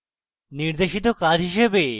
নির্দেশিত কাজ হিসেবে